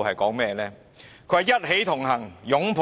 她說："一起同行擁